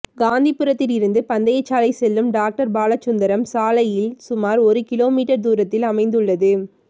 காந்திபுரத்தில் இருந்து பந்தயசாலை செல்லும் டாக்டர் பாலசுந்தரம் சாலையில் சுமார் ஒரு கிலோமீட்டர் தூரத்தில் அமைந்துள்ளது